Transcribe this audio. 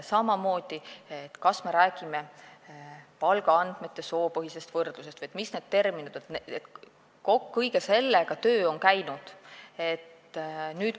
Samamoodi see, et me räägime palgaandmete soopõhisest võrdlusest, see, millised on need terminid – kõige sellega on töö käinud.